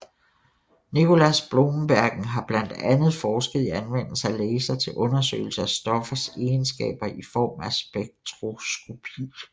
Nicolaas Bloembergen har blandt andet forsket i anvendelse af laser til undersøgelse af stoffers egenskaber i form af spektroskopi